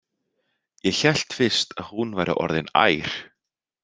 Ég hélt fyrst að hún væri orðin ær.